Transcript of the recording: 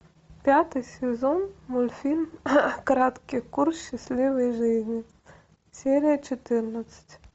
пятый сезон мультфильм краткий курс счастливой жизни серия четырнадцать